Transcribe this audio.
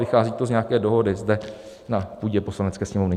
Vychází to z nějaké dohody zde na půdě Poslanecké sněmovny.